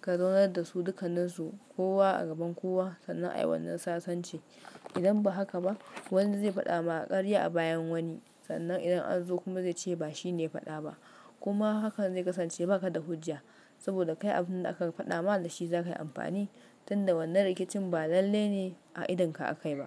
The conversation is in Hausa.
ka zaunar da su dukanninsu kowa a gaban kowa sannan a yi wannan sasanci. Idan ba haka ba, wani zai faɗa ma ƙarya a bayan wani sannan idan an zo kuma zai ce ba shi ne ya faɗa ba. Kuma hakan zai kasance ba ka da hujja saboda kai abin da aka faɗa ma da shi za ka yi amfani tunda wannan rikicin ba lalle ne a idon ka aka yi ba.